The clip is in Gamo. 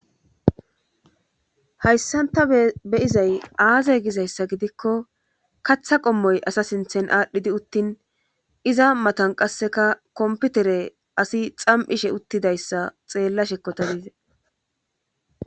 hayssanta beyizay aaze gizayssa gidikko katha qommoy asa sinthen aadhdhidi uttin iza matan qasseka komputere asi xam7ishe uttidayssa xeellashekko ta dize